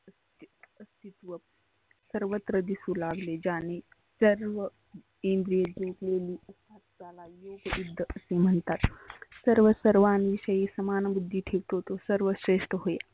सर्वत्र दिसु लागले ज्याने सर्व इंद्रिय जिंकलेली एक निष्ट असे म्हणतात. सर्व सर्वांविषयी समान बुद्धी ठेवतो तो सर्व श्रेष्ठ होय.